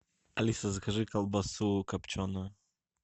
алиса закажи колбасу копченую